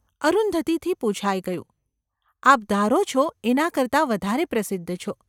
’ અરુંધતીથી પુછાઈ ગયું. ‘આપ ધારો છો એના કરતાં વધારે પ્રસિદ્ધ છો.